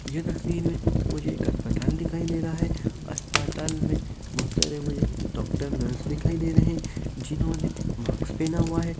ये तस्वीर में मुझे एक अस्पताल दिखाई दे रहा है। अस्पाताल में बहोत सारे मुझे डॉक्टर नर्स दिखाई दे रहे हैं जिन्होंने माक्स पेहना हुआ है।